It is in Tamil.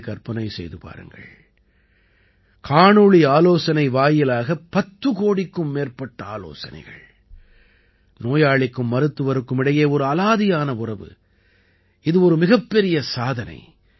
நீங்களே கற்பனை செய்து பாருங்கள் காணொளி ஆலோசனை வாயிலாக பத்து கோடிக்கும் மேற்பட்ட ஆலோசனைகள் நோயாளிக்கும் மருத்துவருக்கும் இடையே ஒரு அலாதியான உறவு இது ஒரு மிகப்பெரிய சாதனை